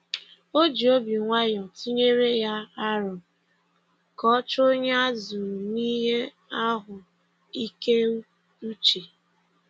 O ji obi nwayọ tụnyere ya aro ka ọ chọọ onye a zụrụ n'ihe ahụ ike uche.